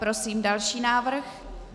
Prosím další návrh.